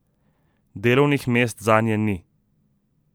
Delovnih mest zanje ni.